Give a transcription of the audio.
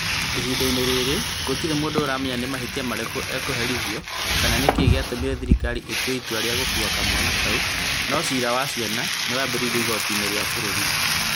Ihinda-inĩ rĩrĩ gũtirĩ mũndũ ũramenya nĩ mahĩtia marĩkũ ekũherithio kana nĩ kĩĩ gĩatũmire thirikari ĩtue itua rĩa gũkuua kamwana kau, no ciira wa ciana nĩ wambĩrĩirie igooti-inĩ rĩa bũrũri.